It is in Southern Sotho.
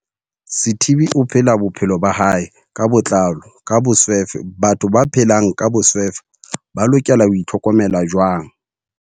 Sithibe o phela bophelo ba hae ka botlalo ka boswefe Batho ba phelang ka boswefe ba lokela ho itlhokomela jwang?